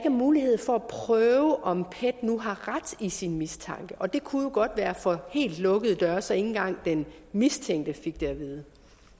er mulighed for at prøve om pet nu har ret i sin mistanke og det kunne jo godt være for helt lukkede døre så ikke engang den mistænkte fik det at vide